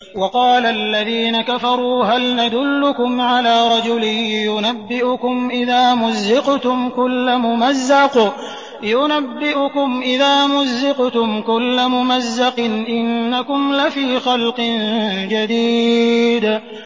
وَقَالَ الَّذِينَ كَفَرُوا هَلْ نَدُلُّكُمْ عَلَىٰ رَجُلٍ يُنَبِّئُكُمْ إِذَا مُزِّقْتُمْ كُلَّ مُمَزَّقٍ إِنَّكُمْ لَفِي خَلْقٍ جَدِيدٍ